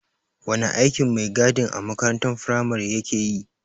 Wane aikin maigadin a makarantar firamare ya keyi?